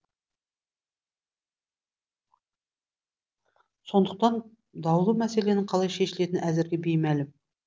сондықтан даулы мәселенің қалай шешілетіні әзірге беймәлім